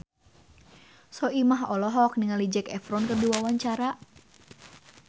Soimah olohok ningali Zac Efron keur diwawancara